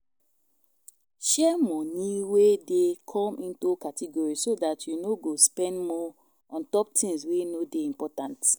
Share moni wey dey come into categories so dat you no go spend more ontop tins wey no dey important